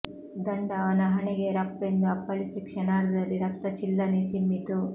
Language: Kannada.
ದಂಡ ಅವನ ಹಣೆಗೆ ರಪ್ಪೆಂದು ಅಪ್ಪಳಿಸಿ ಕ್ಷಣಾರ್ಧದಲ್ಲಿ ರಕ್ತ ಛಿಲ್ಲನೇ ಚಿಮ್ಮಿತು